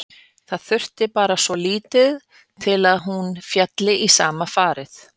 Það þurfti bara svo lítið til að hún félli í sama farið.